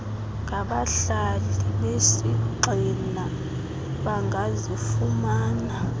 ngabahlali besigxina bangazifumana